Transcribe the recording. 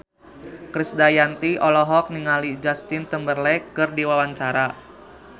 Krisdayanti olohok ningali Justin Timberlake keur diwawancara